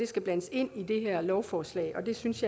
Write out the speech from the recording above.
skal blandes ind i det her lovforslag jeg synes